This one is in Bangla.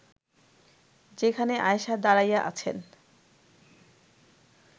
যেখানে আয়েষা দাঁড়াইয়া আছেন